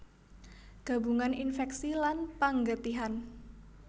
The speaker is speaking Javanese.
Gabungan infèksi lan panggetihan